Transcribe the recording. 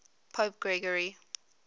pope gregory